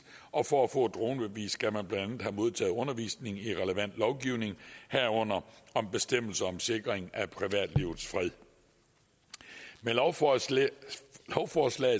og for at få et dronebevis skal man blandt andet have modtaget undervisning i relevant lovgivning herunder om bestemmelser om sikring af privatlivets fred med lovforslaget